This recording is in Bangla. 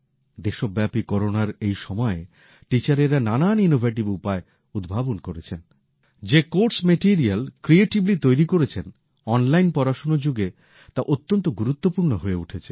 দেশব্যাপী করোনার এই সময়ে শিক্ষক শিক্ষিকারা নানান নতুন উপায় উদ্ভাবন করেছেন পাঠক্রমের বিষয়বস্তু ক্রিয়েটিভলি তৈরি করেছেন অন লাইন পড়াশোনার যুগে তা অত্যন্ত গুরুত্বপূর্ণ হয়ে উঠেছে